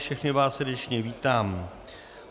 Všechny vás srdečně vítám.